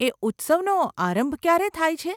એ ઉત્સવનો આરંભ ક્યારે થાય છે?